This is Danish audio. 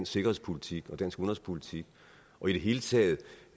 sikkerhedspolitik og dansk udenrigspolitik og i det hele taget